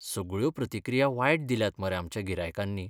सगळ्यो प्रतिक्रिया वायट दिल्यात मरे आमच्या गिरायकांनी!